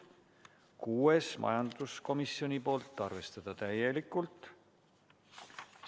Kuues ettepanek, majanduskomisjonilt, seisukoht: arvestada täielikult.